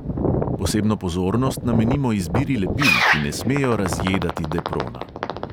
Posebno pozornost namenimo izbiri lepil, ki ne smejo razjedati deprona.